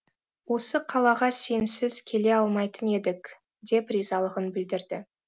осы қалаға сенсіз келе алмайтын едік деп ризалығын білдірді